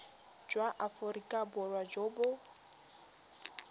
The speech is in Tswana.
jwa aforika borwa jo bo